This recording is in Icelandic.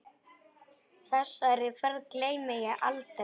Þessari ferð gleymi ég aldrei.